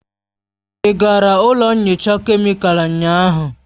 Ị gara ụlọ nyocha kemịkalụ ụnyaahụ?